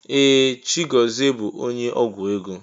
Ee! Chigọzie bụ onye ọgwụ ego.